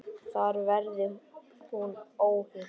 Þar verði hún óhult.